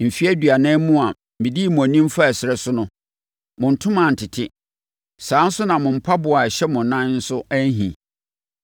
Mfeɛ aduanan mu a medii mo anim faa ɛserɛ so no, mo ntoma antete; saa ara na mo mpaboa a ɛhyɛ mo nan nso anhi.